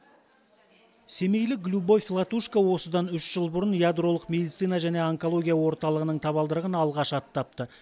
семейлік любовь латушко осыдан үш жыл бұрын ядролық медицина және онкология орталығының табалдырығын алғаш аттапты